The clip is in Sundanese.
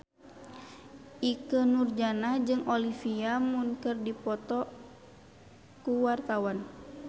Ikke Nurjanah jeung Olivia Munn keur dipoto ku wartawan